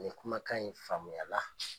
Nin kumakan in faamuyala.